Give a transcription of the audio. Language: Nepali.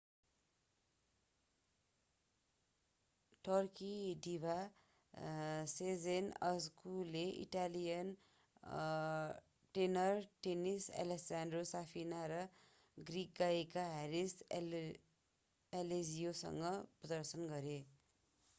टर्की डिभा sezen aksu ले इटालियन टेनर टेनिस alessandro safina र ग्रीक गायक haris alexiou सँग प्रदर्शन गरे